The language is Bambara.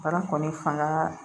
Baara kɔni fanga